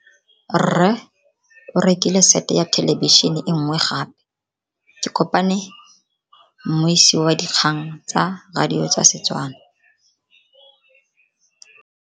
Rre o rekile sete ya thelebišene e nngwe gape. Ke kopane mmuisi w dikgang tsa radio tsa Setswana.